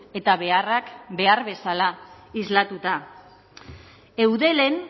eta beharrak behar bezala islatuta eudelen